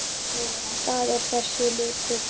Það er þessi litur.